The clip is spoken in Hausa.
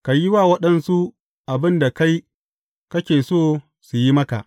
Ka yi wa waɗansu abin da kai kake so su yi maka.